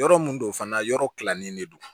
Yɔrɔ mun don fana yɔrɔ kilannen de don